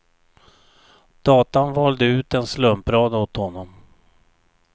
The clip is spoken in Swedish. Datan valde ut en slumprad åt honom.